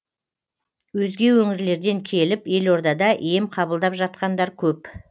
өзге өңірлерден келіп елордада ем қабылдап жатқандар көп